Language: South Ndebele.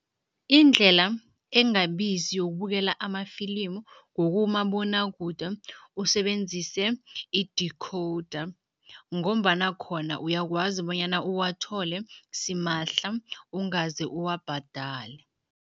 Indlela engabizi yokubukela amafilimu ngokumabonwakude usebenzise i-decoder ngombana khona uyakwazi bonyana uwathole simahla, ungaze uwabhadale.